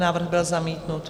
Návrh byl zamítnut.